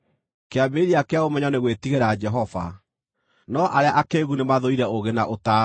Kĩambĩrĩria kĩa ũmenyo nĩ gwĩtigĩra Jehova, no arĩa akĩĩgu nĩ mathũire ũũgĩ na ũtaaro.